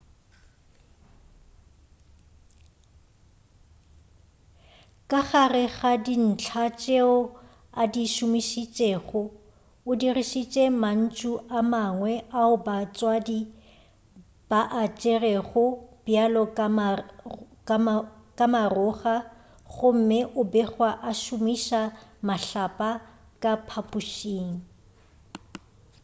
ka gare ga dintlha tšeo a di šomišitšego o dirišitše mantšu a mangwe ao batswadi ba a tšerego bjalo ka maroga gomme o begwa a šomiša mahlapa ka phaphušing